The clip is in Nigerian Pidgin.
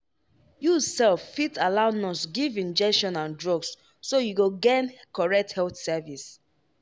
you sef fit allow nurse give injection and drugs so you go gain correct health service.